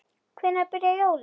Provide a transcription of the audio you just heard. Hvenær byrja jólin?